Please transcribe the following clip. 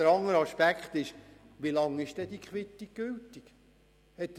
Der andere Aspekt ist die Frage, wie lange diese Quittung gültig ist.